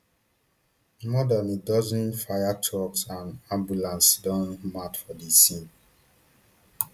more dan a dozen fire trucks and ambulances don mount for di scene